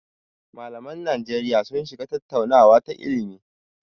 Malaman Najeriya sun shiga tattaunawa ta ilimi.